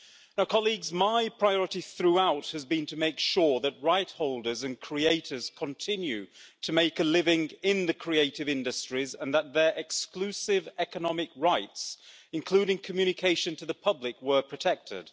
Now colleagues, my priority throughout has been to make sure that rightholders and creators continue to make a living in the creative industries and that their exclusive economic rights, including communication to the public, were protected.